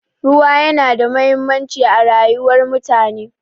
Ruwa yana da mahimmanci a rayuwar mutane.